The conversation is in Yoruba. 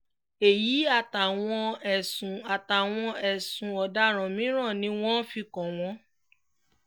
èyí àtàwọn ẹ̀sùn àtàwọn ẹ̀sùn ọ̀daràn mìíràn ni wọ́n fi kàn wọ́n